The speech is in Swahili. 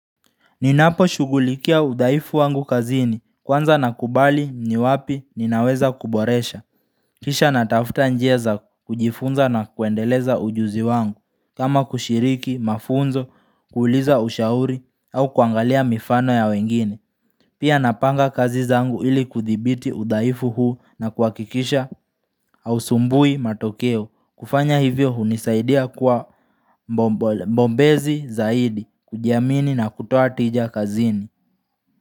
Ninapo shugulikia udhaifu wangu kazini kwanza nakubali ni wapi ninaweza kuboresha Kisha natafuta njia za kujifunza na kuendeleza ujuzi wangu kama kushiriki, mafunzo, kuuliza ushauri au kuangalia mifano ya wengine Pia napanga kazi zangu ili kudhibiti udhaifu huu na kuakikisha hausumbui matokeo kufanya hivyo hunisaidia kwa bombezi zaidi kujiamini na kutoa tija kazini.